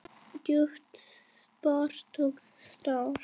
Djúp spor og stór.